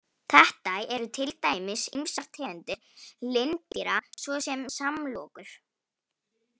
Þetta eru til dæmis ýmsar tegundir lindýra svo sem samlokur.